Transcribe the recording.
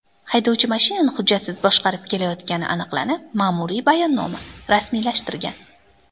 Haydovchi mashinani hujjatsiz boshqarib kelayotgani aniqlanib, ma’muriy bayonnoma rasmiylashtirgan.